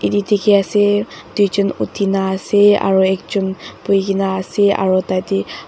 tedikhiase tuijun uthina ase aro ekjon boikae na ase aro tatae--